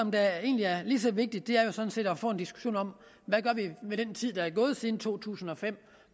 der egentlig er lige så vigtigt er jo sådan set at få en diskussion om hvad vi med den tid der er gået siden to tusind og fem